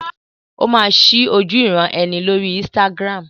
Ó máa ṣí ojúuran-ẹni lórí Instagram.